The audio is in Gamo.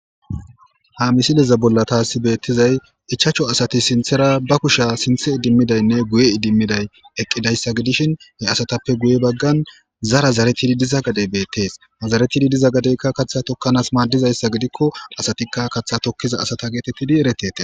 Ha misileza bolla taasi beettizay ichacho asati sinthera ba kusha sinthe idimmidaynne guye idimmiday eqqidayssa gidishin he asatappe guye baggan zara zaretidi diza gadey beettees mazaretidi diza gadeykka katha tokkanaas maaddizayssa gidikko asatikka kaththa tokkiza asata geetettidi eretete